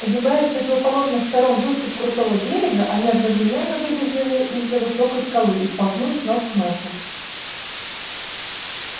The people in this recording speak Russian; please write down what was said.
огибая с противоположных сторон выступ крутого берега они одновременно выбежали из-за высокой скалы и столкнулись нос к носу